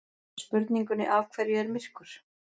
Spurningunni Af hverju er myrkur?